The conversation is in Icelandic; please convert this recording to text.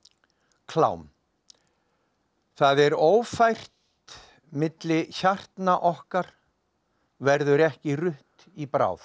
klám það er ófært milli hjartna okkar verður ekki rutt í bráð